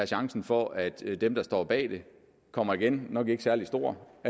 chancen for at dem der står bag kommer igen nok ikke særlig stor og